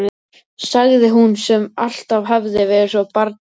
sagði hún, sem alltaf hafði verið svo barngóð.